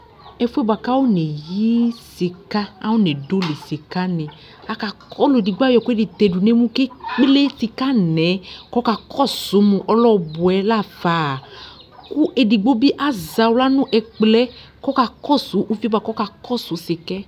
ɛfue boa ka fɔneyi sika ka fɔnedoli sika ni ɔlu edigbo ayɔ ɛkɛedi tɛ du ne mu kelisika nɛ kɔ ka kɔsu mu ɔlɛ ɔbɔɛ lă fă ku edigbo bi la zaxla nu ɛkplɛ kɔ ka kɔsu uvie boa ku ɔkakɔsu sika